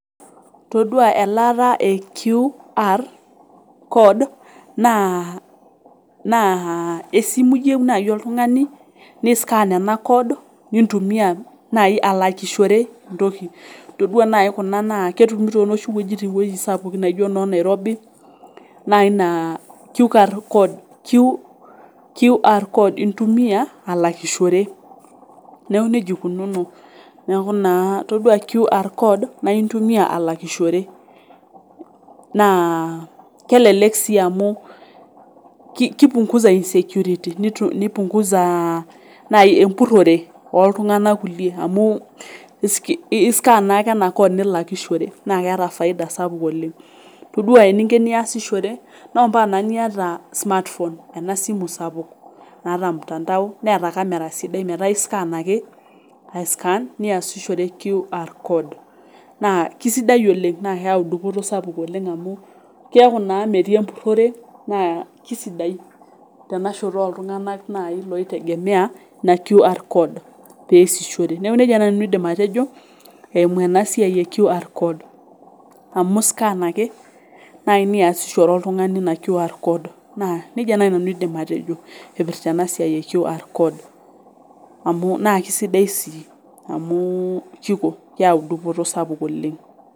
Todua elaata e QR code naa naa esimu iyieu naai oltung'ani ni scan ena code nintumia naai alakishore entoki todua naai kuna naa ketumi tonoshi wuejitin woitin sapukin naijio inok nairobi naai naa kiukar kod QR code intumia alakishore neku nejia ikununo neeku naa yiolo QR code naa intumia alakishore naa kelelek sii amu ki kipungusa insecurity nitu nipunguza uh naai empurrore naai oh oltung'anak kulie amu iski iskan naake ena code nilakishore naa keeta faida sapuk oleng todua eninko eniasishore naa ompaka naa niata smartphone ena simu sapuk naata mtandao neeta camera sidai metaa iskan ake ae scan niasishore QR code naa kisidai oleng naa keyau dupoto sapuk oleng amu kiaku naa metii empurrore naa kisidai tena shoto ooltung'anak naai loitegemea ina QR code peesihore neku nejia naai nanu aidim atejo eimu ena siai e QR code amu iskan ake naai niasishore oltung'ani ina QR code naa nejia naai nanu aidim atejo ipirta ena siai e QR code amu naa kisidai sii amu kiko keyau dupoto sapuk oleng.